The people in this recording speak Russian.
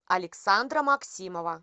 александра максимова